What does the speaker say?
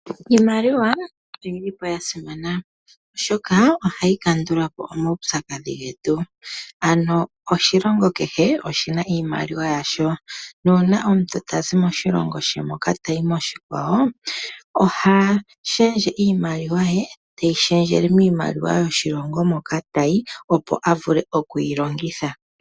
Iimaliwa oyi li po ya simana, oshoka ohayi kandula po omaupyakadhi getu. Ano oshilongo kehe oshi na iimaliwa yasho nuuna omuntu tazi moshilongo she tayi moshikwawo oha shendje iimaliwa ye, teyi shendjele miimaliwa yoshilongo moka tayi, opo a vule oku yi longitha.